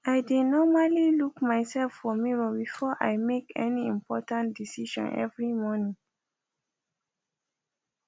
i dae normally look myself for mirror before i make any important decision every morning